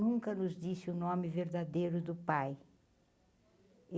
Nunca nos disse o nome verdadeiro do pai.